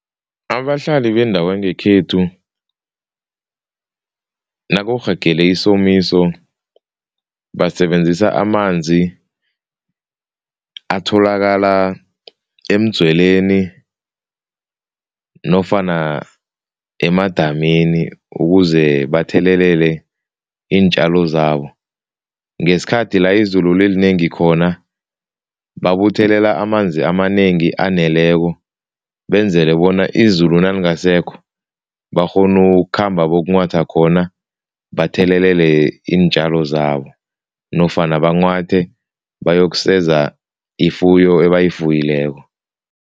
Abahlali bendawo yangekhethu nakurhagele isomiso basebenzisa amanzi atholakala emdzweleni nofana emadamini ukuze bathelelele iintjalo zabo. Ngesikhathi la izulu lilinengi khona, babuthelela amanzi amanengi aneleko, benzele bona izulu nalingasekho bakghone ukukhamba bokunghwatha khona, bathelelele iintjalo zabo nofana banwghwathe bayokuseza ifuyo ebayifuyileko.